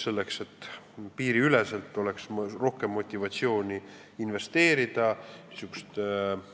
Selleks et piiriüleselt oleks rohkem motivatsiooni investeerida äritegevusse niisugust